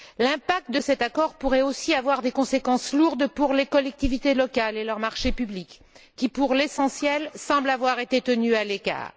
L'impact de cet accord pourrait aussi avoir de lourdes conséquences pour les collectivités locales et leurs marchés publics, qui, pour l'essentiel, semblent avoir été tenues à l'écart.